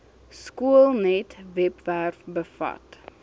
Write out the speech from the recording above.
skoolnet webwerf bevat